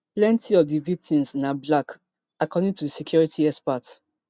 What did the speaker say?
plenti of di victims na black according to security experts